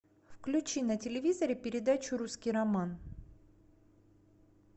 включи на телевизоре передачу русский роман